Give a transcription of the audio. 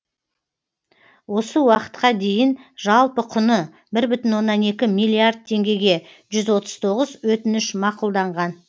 осы уақытқа дейін жалпы құны бір бүтін оннан екі миллиард теңгеге жүз отыз тоғыз өтініш мақұлданған